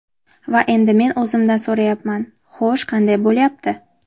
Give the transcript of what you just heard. Va endi men o‘zimdan so‘rayapman: Xo‘sh, qanday bo‘lyapti?